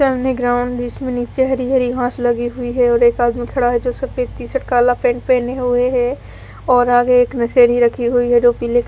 सामने ग्राउंड जिसमे निचे हरी हरी घास लगी हुयी है और एक आदमी खड़ा है जो सफ़ेद टी शर्ट काला पैंट पेहेने हुए है और आगे एक नशेड़ी रखी हुयी है जो पिले--